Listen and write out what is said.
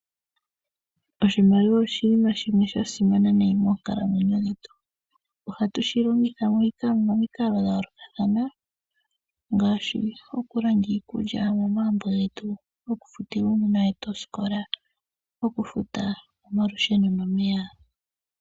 Oshimaliwa oshinima shimwe sha simana nayi moonkalamwenyo dhetu. Ohatu shi longitha momikalo dha yoolokathana ngaashi, okulanda iikulya momagumbo getu, okufutila uunona wetu osikola okufuta omalusheno nomeya.